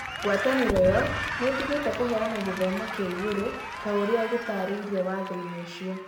Ngwatanĩro ĩyo nĩ ĩtigĩte kũheana gĩthomo kĩa igũrũ ta ũrĩa gĩtaarĩirio Watho-inĩ ũcio.